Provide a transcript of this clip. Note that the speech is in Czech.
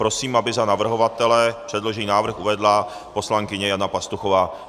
Prosím, aby za navrhovatele předložený návrh uvedla poslankyně Jana Pastuchová.